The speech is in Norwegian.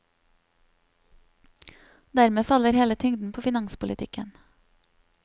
Dermed faller hele tyngden på finanspolitikken.